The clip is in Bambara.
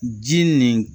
Ji nin